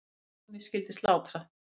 Laxalóni skyldi slátrað.